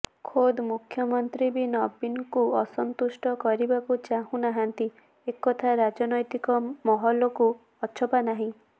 ଖୋଦ୍ ପ୍ରଧାନମନ୍ତ୍ରୀ ବି ନବୀନଙ୍କୁ ଅସନ୍ତୁଷ୍ଟ କରିବାକୁ ଚାହୁଁନାହାନ୍ତି ଏକଥା ରାଜନୈତିକ ମହଲକୁ ଅଛପା ନାହିଁ